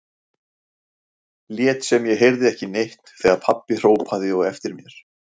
Lét sem ég heyrði ekki neitt þegar pabbi hrópaði á eftir mér.